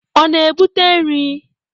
Ọ na-ebute nri?